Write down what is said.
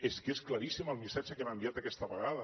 és que és claríssim el missatge que hem enviat aquesta vegada